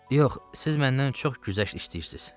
Yox, siz məndən çox güzəşt istəyirsiniz.